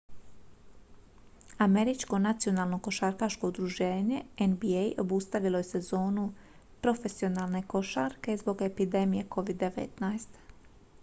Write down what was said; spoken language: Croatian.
američko nacionalno košarkaško udruženje nba obustavilo je sezonu profesionalne košarke zbog epidemije covid-19